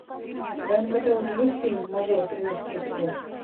в твоем каталоге есть фильм мажор тринадцатый эпизод